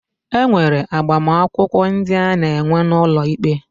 E nwere agbamakwụkwọ ndị a na-enwe n'ụlọ ikpe.